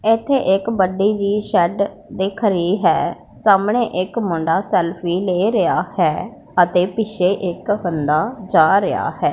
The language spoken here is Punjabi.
ਇੱਥੇ ਇੱਕ ਵੱਡੀ ਜਿਹੀ ਸ਼ੈਡ ਦਿੱਖ ਰਹੀ ਹੈ ਸਾਹਮਣੇ ਇੱਕ ਮੁੰਡਾ ਸੈਲਫੀ ਲੇ ਰਿਹਾ ਹੈ ਅਤੇ ਪਿੱਛੇ ਇੱਕ ਬੰਦਾ ਜਾ ਰਿਹਾ ਹੈ।